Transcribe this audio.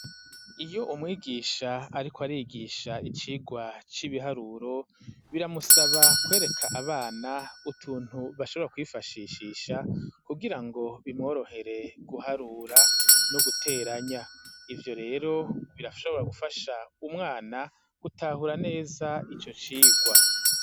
Iyo umwigisha ariko arigisha icigwa c'ibiharuro biramusaba kwereka abana utuntu bashobora kwifashishisha kugira ngo bimworohere guharura no guteranya ivyo rero birashobora gufasha umwana gutahura neza ico cigwa.